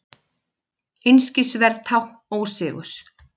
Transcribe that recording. Einskisverð tákn ósigurs.